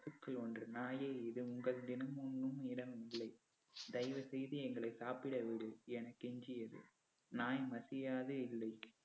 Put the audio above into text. பசுக்கள் ஒன்று நாயே இது உங்கள் தினம் உண்ணும் இடம் இல்லை. தயவு செய்து எங்களை சாப்பிட விடு என கெஞ்சியது நாய் மசியாது இல்லை